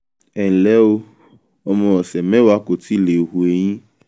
ẹnlẹ́ o ọmọ ọ̀sẹ̀ mẹ́wàá kò tíì le hu eyín